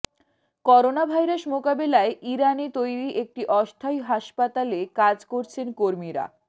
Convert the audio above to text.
coronavirus মোকাবেলায় ইরানে তৈরি একটি অস্থায়ী হাসপাতালে কাজ করছেন কর্মীরা